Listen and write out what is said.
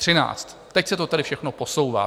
Teď se to tedy všechno posouvá.